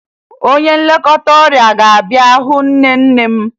Onye nlekọta ọrịa ga-abịa hụ nne nne m